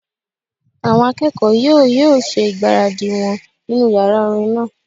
Àwọn akẹ́kọ̀ọ́ yóò yóò ṣe ìgbáradì wọn nínu yàrá orin náà